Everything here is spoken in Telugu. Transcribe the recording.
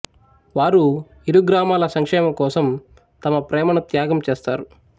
వారు ఇరు గ్రామాల సంక్షేమం కోసం తమ ప్రేమను త్యాగం చేస్తారు